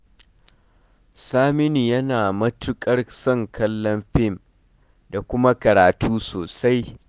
Saminu yana matuƙar son kallon fim da kuma karatu sosai